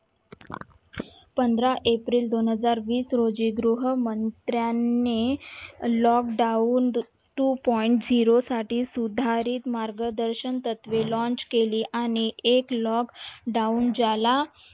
पंधरा एप्रिल दोनहजार वीस रोजी गृहमंत्र्याने lockdown two point zero साठी सुधारित मार्गदर्शन तत्वे launch केली आणि एक lockdown ज्याला